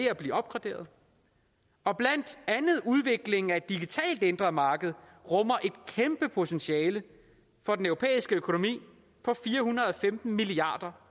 at blive opgraderet og blandt andet udviklingen af et digitalt indre marked rummer et kæmpe potentiale for den europæiske økonomi på fire hundrede og femten milliard